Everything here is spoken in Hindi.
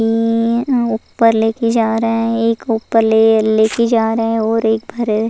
ई ऊपर लेके जा रहा हैं एक ऊपर ले लेके जा रहे हैं और एक भरे --